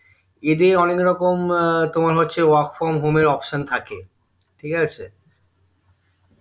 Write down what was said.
এদের অনেক রকম তোমার হচ্ছে work from home এর option থাকে ঠিকাছে